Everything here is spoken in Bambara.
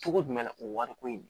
Cogo jumɛn na o wari ko in